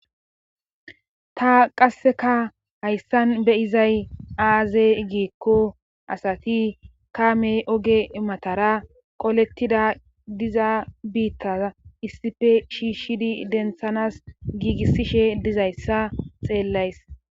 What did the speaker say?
ta qasseka hayssan beyizay aaze giikko asati kaamey oge matara qolettida diza biittaza issife shiishshidi denthanas giigissishe dizayssa xeellays